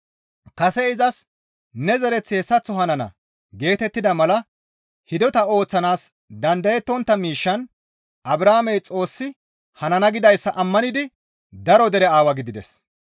Kase izas, «Ne zereththi hessaththo hanana» geetettida mala hidota ooththanaas dandayettontta miishshan Abrahaamey Xoossi hanana gidayssa ammanidi daro dere aawa gidides.